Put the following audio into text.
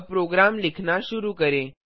अब प्रोग्राम लिखना शुरू करें